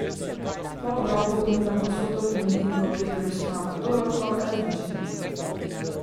Po obroku pomivam posodo, in medtem ko Peter uspava Dorotko, razmišljam.